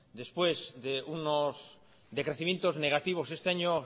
después de unos decrecimientos negativos este año